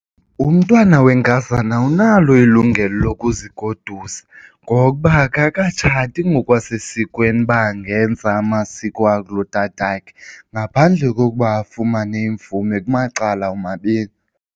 Umntwana wenkazana awunalo ilungelo lokuzigodusa ngoba akakatshati ngokwasesikweni uba angenza amasiko akulotatakhe ngaphandle kokuba afumane imvume kumacala omabini.